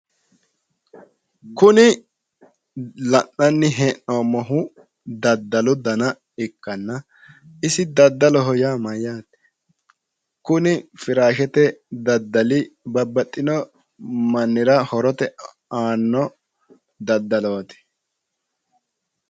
Kuni la'nanni he'noommohu daddalu dana ikkanna isi dadaloho yaa mayyaate kuni firaashete daddali babbaxxino mannira horote aanno daddalooti